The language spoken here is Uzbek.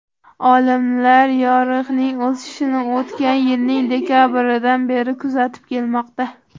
Olimlar yoriqning o‘sishini o‘tgan yilning dekabridan beri kuzatib kelmoqda.